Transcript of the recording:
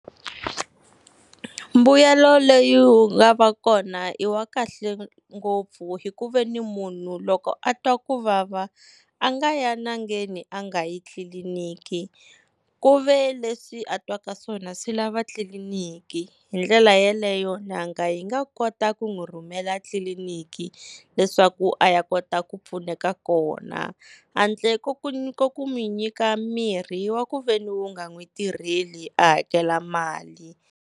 Mbuyelo leyi wu nga va kona i wa kahle ngopfu, hi ku veni munhu loko a twa ku vava a nga ya n'angeni a nga yi tliliniki ku ve leswi a twaka swona swi lava tliliniki, hi ndlela yeleyo n'anga yi nga kota ku n'wi rhumela tliliniki leswaku a ya kota ku pfuneka kona. Handle ka ku n'wi nyika mirhi wa ku veni wu nga n'wi tirheli a hakela mali.